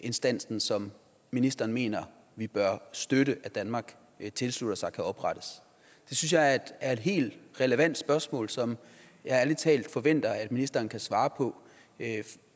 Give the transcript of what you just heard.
instansen som ministeren mener vi bør støtte at danmark tilslutter sig kan oprettes det synes jeg er et helt relevant spørgsmål som jeg ærlig talt forventer at ministeren kan svare på